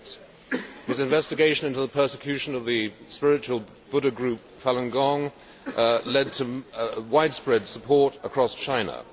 08. His investigation into the persecution of the spiritual Buddhist group, Falun Gong, led to widespread support across China.